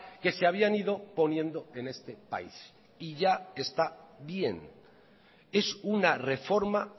que se habían ido poniendo en este país y ya está bien es una reforma